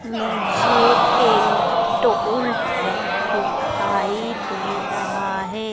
मुझे एक टोलटैक्स दिखाई दे रहा है।